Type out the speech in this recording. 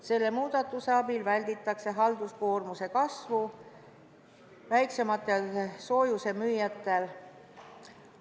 Selle muudatuse abil välditakse halduskoormuse kasvu väiksematel soojusemüüjatel.